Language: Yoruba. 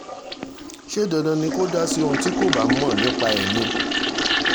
ṣé dandan ni kò dá sí ohun tí kò bá mọ̀ nípa ẹ̀ ni